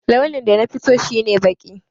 Launin da nafi so shi ne baƙi.